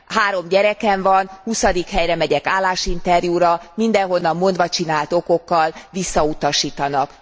Három gyerekem van, huszadik helyre megyek állásinterjúra, mindenhonnan mondvacsinált okokkal visszautasítanak.